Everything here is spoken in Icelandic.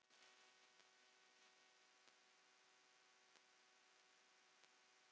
Eruð þið sátt við það?